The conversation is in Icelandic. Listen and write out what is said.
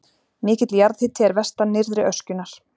Mikill jarðhiti er vestan nyrðri öskjunnar.